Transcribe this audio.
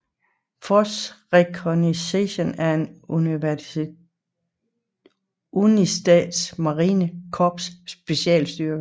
Force Reconnaissance er en af United States Marine Corps specialstyrker